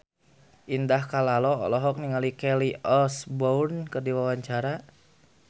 Indah Kalalo olohok ningali Kelly Osbourne keur diwawancara